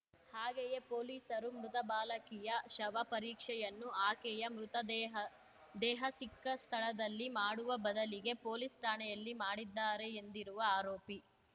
ಹಾಗೆಯೇ ಪೊಲೀಸರು ಮೃತ ಬಾಲಕಿಯ ಶವ ಪರೀಕ್ಷೆಯನ್ನು ಆಕೆಯ ಮೃತದೇಹ ದೇಹ ಸಿಕ್ಕ ಸ್ಥಳದಲ್ಲಿ ಮಾಡುವ ಬದಲಿಗೆ ಪೊಲೀಸ್ ಠಾಣೆಯಲ್ಲಿ ಮಾಡಿದ್ದಾರೆ ಎಂದಿರುವ ಆರೋಪಿ